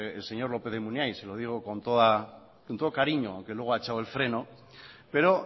el señor lópez de munain se lo digo con todo cariño que luego ha echado el freno pero